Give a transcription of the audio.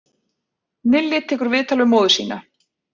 Nilli tekur viðtal við móður sína